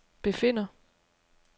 befinder